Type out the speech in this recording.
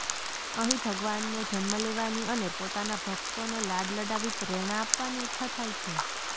અહીં ભગવાનને જન્મ લેવાની અને પોતાનાભકતોને લાડ લડાવી પ્રેરણા આપવાની ઇચ્છા થાય છે